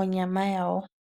onyama yawo.